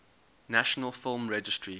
national film registry